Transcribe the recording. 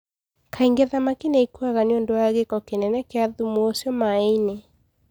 Kaingĩ thamaki nĩ ikuaga nĩ ũndũ wa gĩko kĩnene kĩa thumu ũcio maĩ-inĩ.